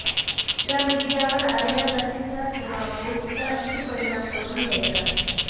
या मीडियावर आलेल्या बातमीचा किंव्हा पोस्टचा किती परिणाम करून घ्यायचा